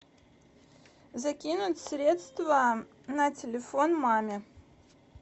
закинуть средства на телефон маме